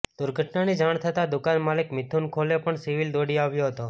દુર્ઘટનાની જાણ થતાં દુકાન માલિક મિથુન ખોલે પણ સિવિલ દોડી આવ્યો હતો